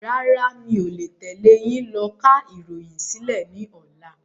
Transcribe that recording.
Rárá, mi ò le tẹ́lé yìí lọ ká ìròyìn sílẹ̀ ni ọ̀la.